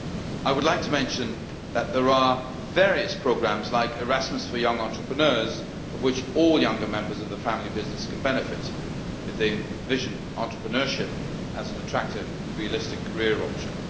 I would like to mention that there are various programmes, like Erasmus for young entrepreneurs, from which all younger members of the family business can benefit if they envision entrepreneurship as an attractive and realistic career option.